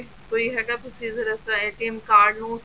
ਕੋਈ ਹੈਗਾ procedure ਐਸਾ card ਨੂੰ